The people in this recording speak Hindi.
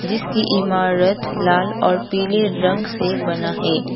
जिसकी इमारत लाल और पीले रंग से बना है।